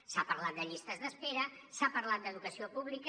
s’ha parlat de llistes d’espera s’ha parlat d’educació pública